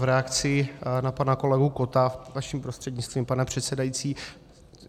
V reakci na pana kolegu Kotta vaším prostřednictvím, pane předsedající.